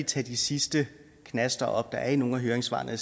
tage de sidste knaster op der er i nogle af høringssvarene og